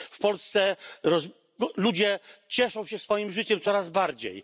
W Polsce ludzie cieszą się swoim życiem coraz bardziej.